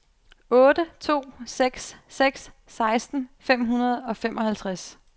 otte to seks seks seksten fem hundrede og femoghalvtreds